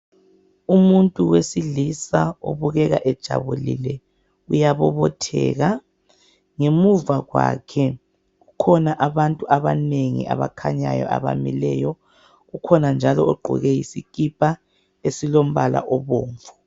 Umuntu wesilisa obukeka ejabulile uyabobotheka ngemuva kwakhe kukhona abantu abanengi abakhanyayo abamileyo kukhona njalo ogqoke isikipa esilombala obomvu.